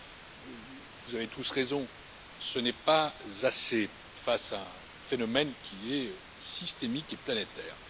Mais, vous avez tous raison, ce n'est pas assez, face à un phénomène qui est systémique et planétaire.